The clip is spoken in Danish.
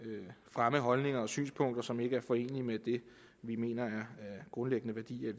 fremme holdninger og synspunkter som ikke er forenelige med det vi mener er grundlæggende værdier i